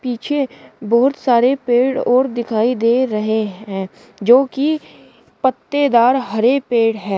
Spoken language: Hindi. पीछे बहुत सारे पेड़ और दिखाई दे रहे हैं जो की पत्तेदार हरे पेड़ हैं।